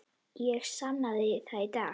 Ég sannaði það í dag.